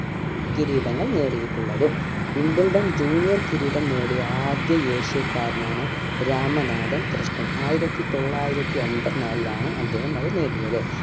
കിരീടങ്ങൾ നേടിയിട്ടുള്ളതും wimbledon junior കിരീടം നേടിയ ആദ്യ ഏഷ്യക്കാരനാണ് രാമനാഥൻ കൃഷ്‌ണൻ ആയിരത്തി തൊള്ളായിരത്തി എൺപത്തി നാലിൽ ആണ്‌ അദ്ദേഹം അത് നേടിയത്